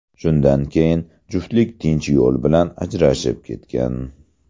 Shundan keyin juftlik tinch yo‘l bilan ajrashib ketgan.